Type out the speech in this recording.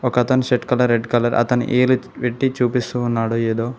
ఒక అతను shirt red colour అతను ఏలు ఎత్తి పెట్టి చూపిస్తూ ఉన్నాడు ఎదో.